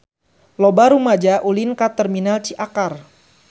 Loba rumaja ulin ka Terminal Ciakar